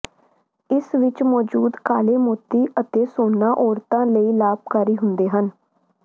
ਇਸ ਵਿੱਚ ਮੌਜੂਦ ਕਾਲੇ ਮੋਤੀ ਅਤੇ ਸੋਨਾ ਔਰਤਾਂ ਲਈ ਲਾਭਕਾਰੀ ਹੁੰਦੇ ਹਨ